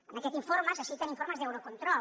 en aquest informe se citen informes d’eurocontrol